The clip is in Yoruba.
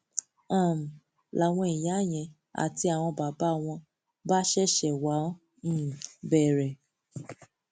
um làwọn ìyá yẹn àti àwọn bàbá wọn bá ṣẹṣẹ wáá um bẹrẹ